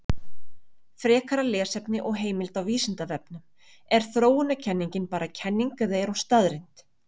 Frekara lesefni og heimild á Vísindavefnum: Er þróunarkenningin bara kenning eða er hún staðreynd?